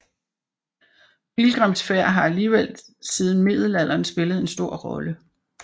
Pilgrimsfærd har alligevel siden middelalderen spillet en stor rolle